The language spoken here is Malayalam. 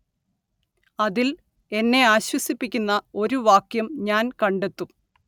അതിൽ എന്നെ ആശ്വസിപ്പിക്കുന്ന ഒരു വാക്യം ഞാൻ കണ്ടെത്തും